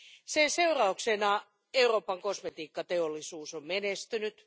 Sen seurauksena Euroopan kosmetiikkateollisuus on menestynyt.